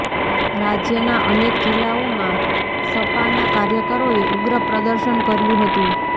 રાજ્યના અનેક જિલ્લાઓમાં સપાના કાર્યકરોએ ઉગ્ર પ્રદર્શન કર્યું હતું